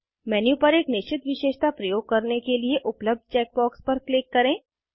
menu पर एक निश्चित विशेषता प्रयोग करने के लिए उपलब्ध चेकबॉक्स पर क्लिक करें